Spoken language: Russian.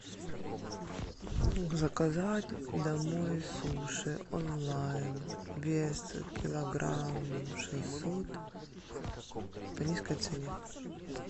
заказать домой суши онлайн вес килограмм шестьсот по низкой цене